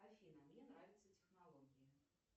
афина мне нравятся технологии